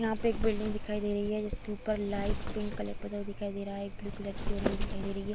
यहाँ पे एक बिल्डिंग दिखाई दे रही है जिसके ऊपर लाइट पिंक कलर पुता हुआ दिखाई दे रहा है। एक ब्लू कलर की दिखाई दे रही है |